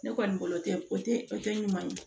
Ne kɔni bolo tɛ o tɛ o tɛ ɲuman ye